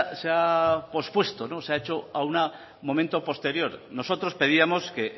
se ha pospuesto se ha hecho a un momento posterior nosotros pedíamos que